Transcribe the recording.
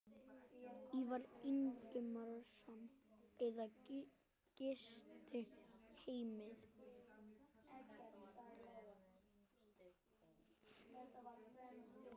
Ívar Ingimarsson: Eða gistiheimilið?